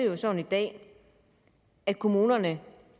jo sådan i dag at kommunerne